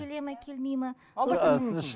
келеді ме келмейді ме